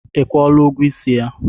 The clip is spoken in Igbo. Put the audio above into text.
I kwụọla ụgwọ isi ya?